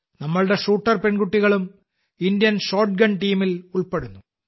നമ്മളുടെ ഷൂട്ടർ പെൺകുട്ടികളും Indian shotgun ടീമിൽ ഉൾപ്പെടുന്നു